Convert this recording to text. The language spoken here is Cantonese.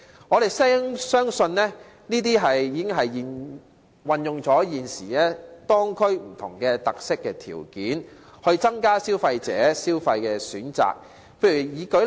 我們相信，這些建議已經運用了現時當區的不同特色和條件，從而增加消費者的消費選擇。